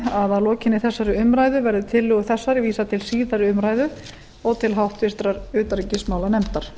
að lokinni þessari umræðu verði tillögu þessari vísað til síðari umræðu og til háttvirtrar utanríkismálanefndar